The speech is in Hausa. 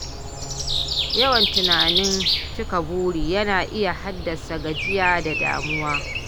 Yawan tunanin cika buri yana iya haddasa gajiya da damuwa.